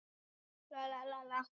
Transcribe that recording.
Burðardýr játaði fyrir dómi